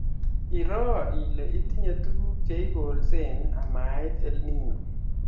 Iroo ile itinye tuguk che ikolsee amait EL Nino